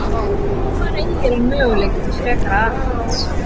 En hvar eygir hann möguleika til frekara aðhalds?